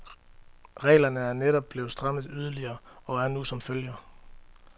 Reglerne er netop blevet strammet yderligere, og er nu som følger.